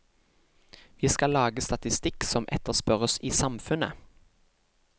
Vi skal lage statistikk som etterspørres i samfunnet.